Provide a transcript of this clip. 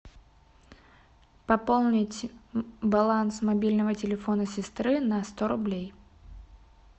пополнить баланс мобильного телефона сестры на сто рублей